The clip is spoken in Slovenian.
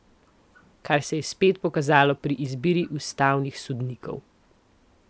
Kar se je spet pokazalo pri izbiri ustavnih sodnikov.